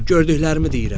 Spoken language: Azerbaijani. Gördüklərimi deyirəm.